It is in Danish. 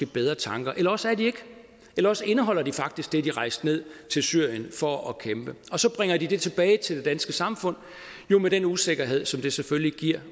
bedre tanker eller også er de ikke eller også indeholder de faktisk det de rejste ned til syrien for at kæmpe og så bringer de det tilbage til det danske samfund med den usikkerhed som det selvfølgelig giver